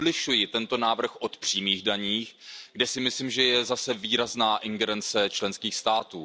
Odlišuji tento návrh od přímých daní, kde si myslím, že je zase výrazná ingerence členských států.